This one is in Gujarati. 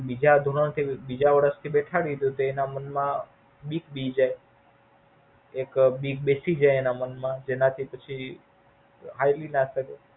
એને Like બીજા ધોરણ થી બીજા વર્ષ થી બેસાડી દો તેના મન માં બીક બેસી જાય એક બીક બેસી જય એના મન માં જેનાથી પછી હાલી ના શકે.